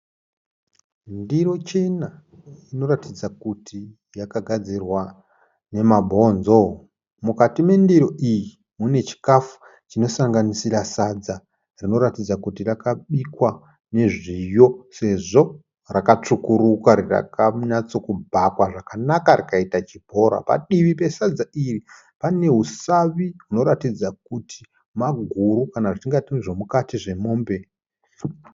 Ndiro chena inoratidza kuti yakagadzirwa nemabhonzo. Mukati mendiro iyi mune chikafu chinosanganisira sadza rinoratidza kuti rakabikwa nezviyo sezvo rakatsvukuruka rakanyatsokubhakwa zvakanaka rakaita chibhora. Padivi pesadza iri pane usavi unoratidza maguru kana zvemukati memombe.